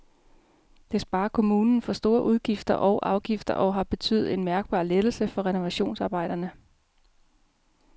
Det sparer kommunen for store udgifter og afgifter og har betydet en mærkbar lettelse for renovationsarbejderne.